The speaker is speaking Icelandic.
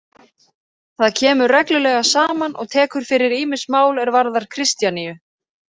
Það kemur reglulega saman og tekur fyrir ýmis mál er varðar Kristjaníu.